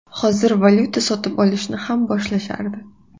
Hozir valyuta sotib olishni ham boshlashardi.